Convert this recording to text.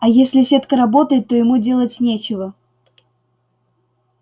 а если сетка работает то ему делать нечего